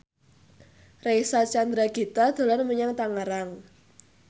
Reysa Chandragitta dolan menyang Tangerang